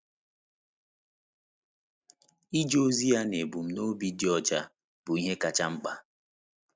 Ije ozi ya na ebumnobi dị ọcha bụ ihe kacha mkpa.